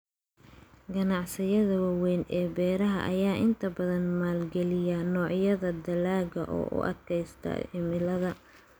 Ganacsiyada waaweyn ee beeraha ayaa inta badan maalgeliya noocyada dalagga u adkaysta cimilada.